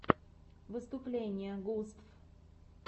выступление густв